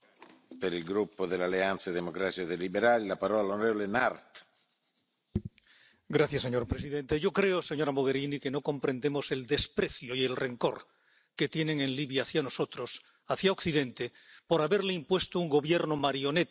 Señor presidente, señora Mogherini, yo creo que no comprendemos el desprecio y el rencor que tienen en Libia hacia nosotros, hacia Occidente, por haberle impuesto un gobierno marioneta, una persona inexistente —Fayez al Sarrach— con todas las instituciones, hasta el Consejo de Estado.